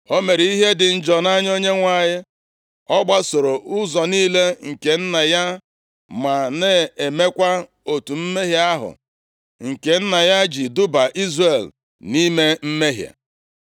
O mere ihe dị njọ nʼanya Onyenwe anyị. Ọ gbasoro ụzọ niile nke nna ya ma na-emekwa otu mmehie ahụ nke nna ya ji duba Izrel nʼime mmehie.